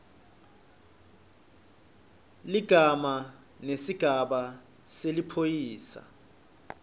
ligama nesigaba seliphoyisa